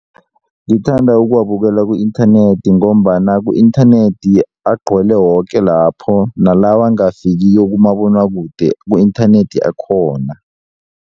Ngithanda ukuwabukela ku-inthanethi ngombana ku-inthanethi agcwele woke lapho nalawo angafikiko kumabonwakude ku-inthanethi akhona.